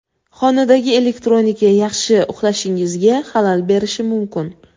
Xonadagi elektronika yaxshi uxlashingizga xalal berishi mumkin.